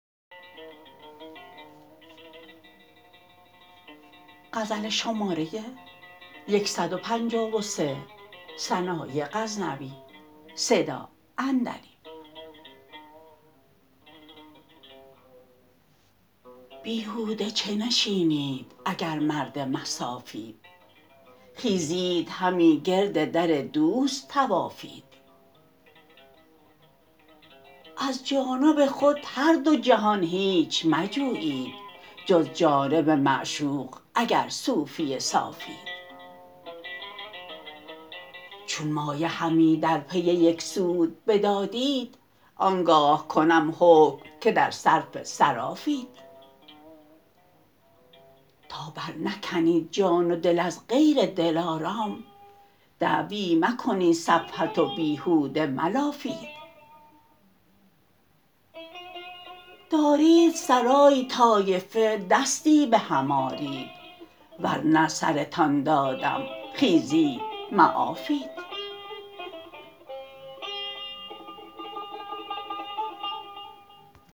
بیهوده چه نشینید اگر مرد مصافید خیزید همی گرد در دوست طوافید از جانب خود هر دو جهان هیچ مجویید جز جانب معشوق اگر صوفی صافید چون مایه همی در پی یک سود بدادید آنگاه کنم حکم که در صرف صرافید تا بر نکنید جان و دل از غیر دلارام دعوی مکنید صفوت و بیهوده ملافید دارید سرای طایفه دستی بهم آرید ورنه سرتان دادم خیزید معافید